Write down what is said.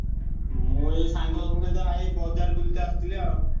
ମୁଁ ଏଇ ସାଙ୍ଗଙ୍କ ସହିତ ଏଇ ବଜାର ବୁଲିତେ ଆସଥିଲି ଆଉ।